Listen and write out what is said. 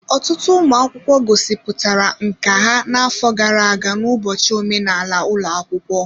Ọtụtụ ụmụ akwụkwọ gosipụtara nkà ha n'afọ gara aga n'ụbọchị omenala ụlọ akwụkwọ.